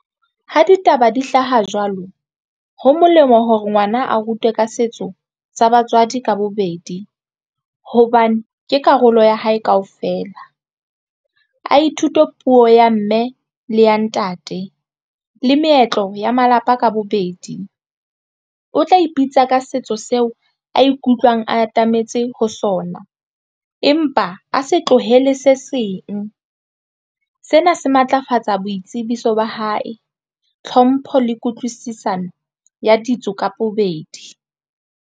Ho ditaba di hlaha jwalo ho molemo hore ngwana a rutwe ka setso sa batswadi ka bobedi hobane ke karolo ya hae kaofela a ithute puo ya mme le ya ntate le meetlo ya malapa ka bobedi o tla ipitsa ka setso seo a ikutlwang atametse ho sona, empa a se tlohele se seng. Sena se matlafatsa boitsebiso ba hae, tlhompho le kutlwisisano ya ditso ka bobedi.